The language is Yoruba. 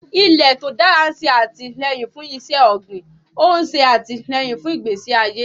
Ilẹ̀ tó dára ń ṣe àtìlẹ́yìn fún iṣẹ́ ọ̀gbìn, ó ń ṣe àtìlẹ́yìn fún ìgbésí ayé.